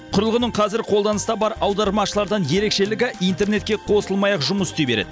құрылғының қазір қолданыста бар аудармашылардан ерекшелігі интернетке қосылмай ақ жұмыс істей береді